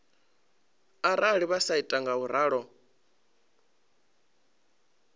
arali vha sa ita ngauralo